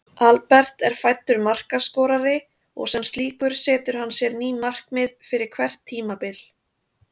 Albert er fæddur markaskorari og sem slíkur setur hann sér ný markmið fyrir hvert tímabil.